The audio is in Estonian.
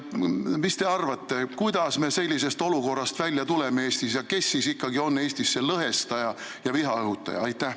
Mis te arvate, kuidas me sellest olukorrast Eestis välja tuleme ja kes siis ikkagi on Eestis see lõhestaja ja vihaõhutaja?